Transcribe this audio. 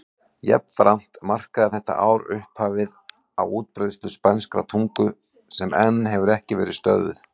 Jafnframt markaði þetta ár upphafið á útbreiðslu spænskrar tungu sem enn hefur ekki verið stöðvuð.